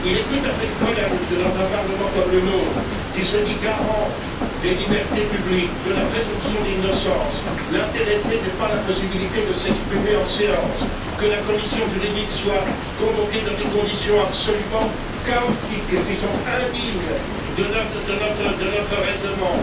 Il est tout à fait scandaleux que dans un Parlement comme le nôtre, qui se dit garant des libertés publiques et de la présomption d'innocence, l'intéressé n'ait pas la possibilité de s'exprimer en séance, que la commission juridique soit convoquée dans des conditions absolument chaotiques, qui sont indignes de notre règlement,